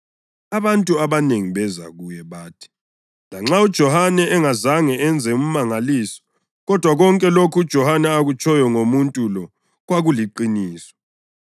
abantu abanengi beza kuye. Bathi, “Lanxa uJohane engazange enze umangaliso, kodwa konke lokho uJohane akutshoyo ngomuntu lo kwakuliqiniso.”